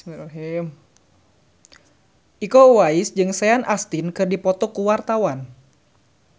Iko Uwais jeung Sean Astin keur dipoto ku wartawan